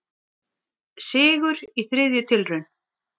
Sigur í þriðju tilraun